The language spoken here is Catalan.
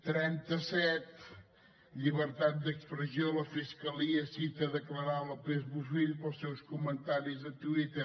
trenta set llibertat d’expressió la fiscalia cita a declarar lópez bofill pels seus comentaris de twitter